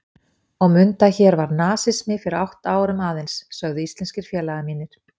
Og mundu að hér var nasismi fyrir átta árum aðeins, sögðu íslenskir félagar mínir.